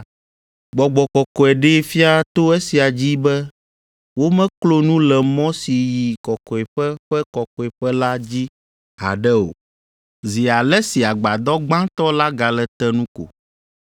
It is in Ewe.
Gbɔgbɔ Kɔkɔe ɖee fia to esia dzi be womeklo nu le mɔ si yi Kɔkɔeƒe ƒe Kɔkɔeƒe la dzi haɖe o, zi ale si Agbadɔ gbãtɔ la gale te nu ko.